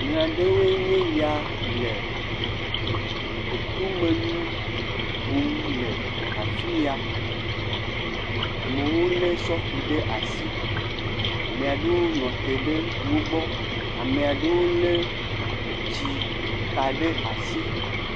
Ame aɖewoe ya le etomenu kum le afi ya, ame aɖewo lé sofi ɖe asi, ame aɖewo nɔ te ɖe wo gbɔ, ame aɖewo lé etsi ka ɖe asi.